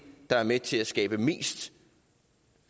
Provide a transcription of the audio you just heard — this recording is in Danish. der er med til at skabe mest